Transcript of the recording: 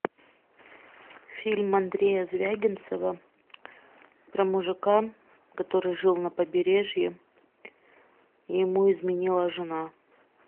фильм андрея звягинцева про мужика который жил на побережье и ему изменила жена